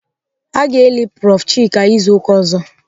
Aga eli prof Chika izu ụka ọzọ.